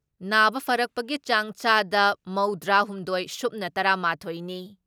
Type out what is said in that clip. ꯅꯥꯕ ꯐꯔꯛꯄꯒꯤ ꯆꯥꯡ ꯆꯥꯗ ꯃꯧꯗ꯭ꯔꯤ ꯍꯨꯝꯗꯣꯏ ꯁꯨꯞꯅ ꯇꯔꯥ ꯃꯥꯊꯣꯏ ꯅꯤ ꯫